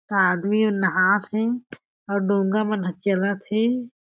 आदमी मन नहात हे अउ डोंगा मन ह चलत हे।